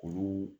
Olu